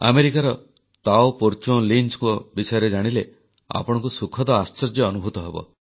ଆମେରିକାର ତାଓ ପର୍ଚ୍ଚୋନଲିଞ୍ଚ ବିଷୟରେ ଜାଣିଲେ ଆପଣଙ୍କୁ ସୁଖଦ ଆଶ୍ଚର୍ଯ୍ୟ ଅନୁଭୂତ ହେବ